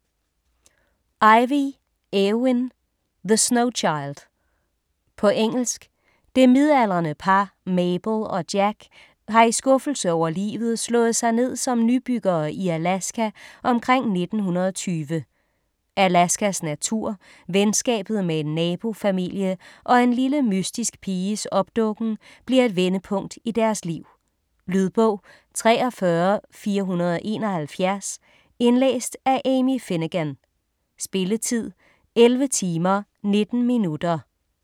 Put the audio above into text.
Ivey, Eowyn: The snow child På engelsk. Det midaldrende par, Mabel og Jack, har i skuffelse over livet slået sig ned som nybyggere i Alaska omkring 1920. Alaskas natur, venskabet med en nabofamilie og en lille mystisk piges opdukken bliver et vendepunkt i deres liv. Lydbog 43471 Indlæst af Amy Finegan. Spilletid: 11 timer, 19 minutter.